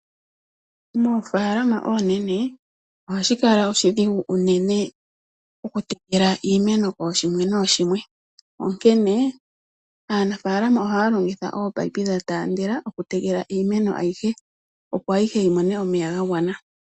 Moofalama oonene ohashi kala oshidhigu unene okutekela iimeno kooshimwe nooshimwe. Onkene aanafalama ohaya longitha ominino dha tandela okutekela iimeno ayihe, opo ayihe yi mone omeya ga gwana.